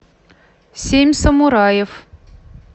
семь самураев